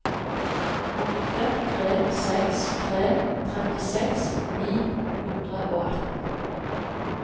åtte tre seks tre trettiseks ni hundre og atten